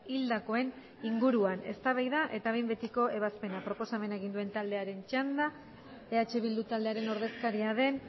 hildakoen inguruan eztabaida eta behin betiko ebazpena proposamena egin duen taldearen txanda eh bildu taldearen ordezkaria den